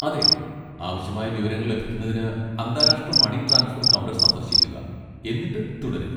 അതെ, ആവശ്യമായ വിവരങ്ങൾ ലഭിക്കുന്നതിന് അന്താരാഷ്ട്ര മണി ട്രാൻസ്ഫർ കൗണ്ടർ സന്ദർശിക്കുക, എന്നിട്ട് തുടരുക.